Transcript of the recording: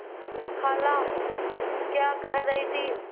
खाला क्या कह रही थी